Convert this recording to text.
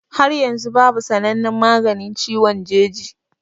Har yanzu babu sanannen maganin ciwon jeji